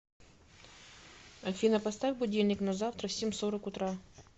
афина поставь будильник на завтра в семь сорок утра